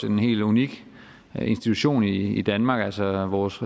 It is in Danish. en helt unik institution i danmark altså vores